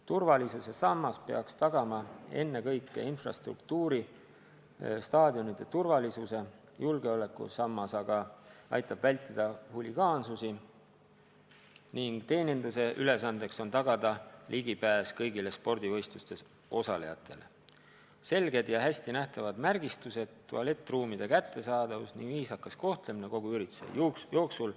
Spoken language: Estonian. Turvalisussammas peaks tagama ennekõike infrastruktuuri ja staadionide turvalisuse, julgeolekusammas aitab ära hoida huligaansusi ning teeninduse ülesanne on tagada sujuv ligipääs kõigile spordivõistlustes osalejatele: selged ja hästi nähtavad märgistused, tualettruumide kättesaadavus ning viisakas kohtlemine kogu ürituse jooksul.